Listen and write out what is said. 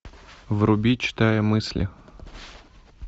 вруби читая мысли